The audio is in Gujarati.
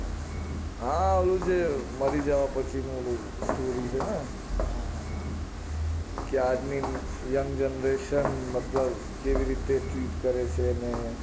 હા એવું જે મરી જાય પછી નું ઓલું story છે ને હા હા હા કે આદમીન young generation મતલબ કેવી રીતે treat કરે છે ને